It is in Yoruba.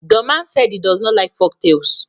the man said he does not like folktales